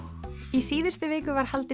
í síðustu viku var haldinn